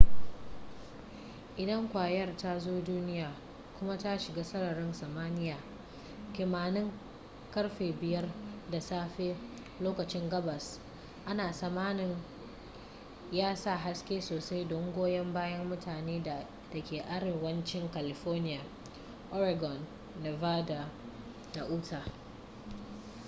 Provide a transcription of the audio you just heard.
idan kwayar ta zo duniya kuma ta shiga sararin samaniya kimanin karfe 5 na safelokacin gabas ana tsamanin ya sa haske sosai don goyon bayan mutane da ke arewancin california oregon nevada da utah